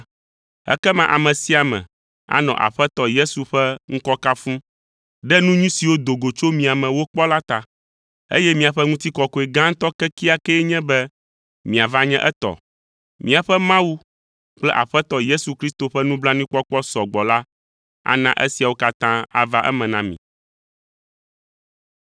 Ekema ame sia ame anɔ Aƒetɔ Yesu Kristo ƒe ŋkɔ kafum ɖe nu nyui siwo do go tso mia me wokpɔ la ta, eye miaƒe ŋutikɔkɔe gãtɔ kekeakee nye be miava nye etɔ. Míaƒe Mawu kple Aƒetɔ Yesu Kristo ƒe nublanuikpɔkpɔ sɔgbɔ la ana esiawo katã ava eme na mi.